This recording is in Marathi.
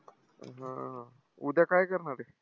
हा. उद्या काय करणारे?